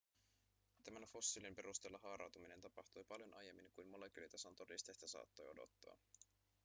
tämän fossiilin perusteella haarautuminen tapahtui paljon aiemmin kuin molekyylitason todisteista saattoi odottaa